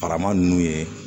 Barama ninnu ye